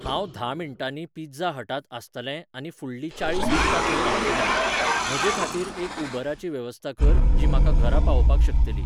हांव धा मिनटांनी पिझ्झा हटांत आसतलें आनी फुडलीं चाळीस मिनटां थंय रावतलें. म्हजेखातीर एक उबराची वेवस्था कर जी म्हाका घरा पावोवपाक शकतली.